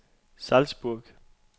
Salzburg